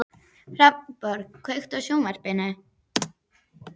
Hann hló og Týri flaðraði upp um hann.